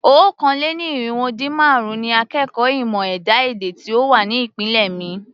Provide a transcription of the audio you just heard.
Okòó-lé-ní-irínwó-dín-márùn-ún ni akẹ́kọ̀ọ́ ìmọ̀ ẹ̀dá-èdè tí ó wà ní ìpele mi.